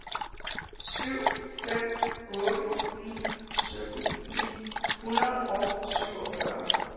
syv fem otte ni sytten ni hundrede og syvogfyrre